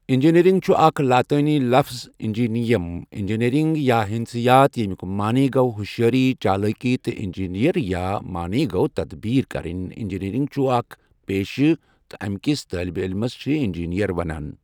engineering چھُ اکٛھ لاَطأنِی لفٕظ اِنجِیٚنِیَم اِنٛجیٖنٔرنٛگ یا ہندسیات یَمُیوٛک مَعنٰی گوٛۄ ہُوشٚیأرِی چَالأکِی تہٕ اِنجِیٚنِیرِیَا مَعنٰی گوٚو تَدٕبیٖر کَرٕنٚی اِنٛجیٖنٔرنٛگ چھُ اَکھ پییٚشہِ تہٕ اَمہِ کِس طٲلبہِ علمَس چھِ اِنجیٖنَر ونان